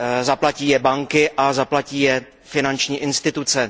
Zaplatí je banky a zaplatí je finanční instituce.